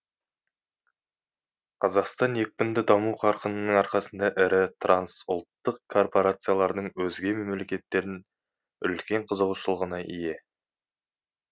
қазақстан екпінді даму қарқынының арқасында ірі трансұлттық корпорациялардың өзге мемлекеттердің үлкен қызығушылығына ие